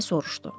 deyə soruşdu.